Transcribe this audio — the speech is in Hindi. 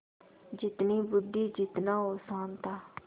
जितनी बुद्वि जितना औसान था